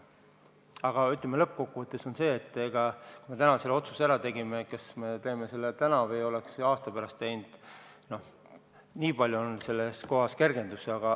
Aga lõppkokkuvõttes on see, kui me täna selle otsuse ära tegime – kas me teeme selle täna või oleks aasta pärast teinud, noh, nii palju on selle koha pealt kergendus.